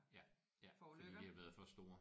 Ja ja fordi de har været for store